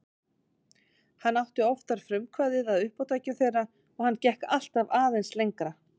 Hann átti oftar frumkvæðið að uppátækjum þeirra og hann gekk alltaf aðeins lengra.